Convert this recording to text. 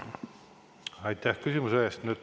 Aitäh küsimuse eest!